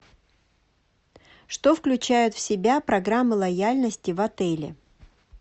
что включает в себя программа лояльности в отеле